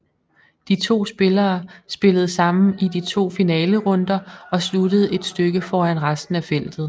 De to spillere spillede sammen i de to finalerunder og sluttede et stykke foran resten af feltet